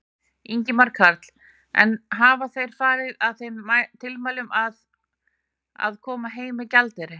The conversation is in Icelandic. Ingimar Karl: En hafa þeir farið að þeim tilmælum að, að, koma heim með gjaldeyri?